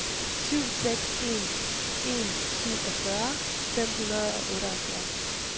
syv seks en en syvogfyrre fem hundrede og otteoghalvfems